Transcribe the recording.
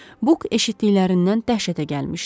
Buk eşitdiklərindən dəhşətə gəlmişdi.